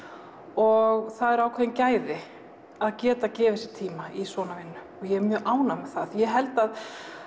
og það eru ákveðin gæði að geta gefið sér ákveðinn tíma í svona vinnu og ég er mjög ánægð með það því ég held að